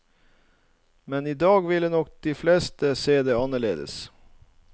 Man i dag ville nok de fleste se det annerledes.